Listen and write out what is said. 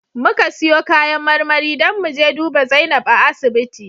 Muka siyo kayan marmari don mu je duba Zainab a asibiti